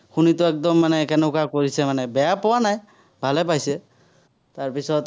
শুনিতো একদম মানে কেনেকুৱা কৰিছে মানে, বেয়া পোৱা নাই, ভালে পাইছে। তাৰপিছত